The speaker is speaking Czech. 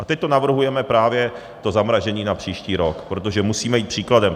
A teď to navrhujeme, právě to zamrazení, na příští rok, protože musíme jít příkladem.